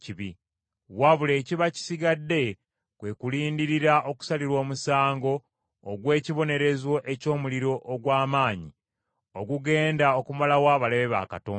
Wabula ekiba kisigadde kwe kulindirira okusalirwa omusango ogw’ekibonerezo eky’omuliro ogw’amaanyi ogugenda okumalawo abalabe ba Katonda.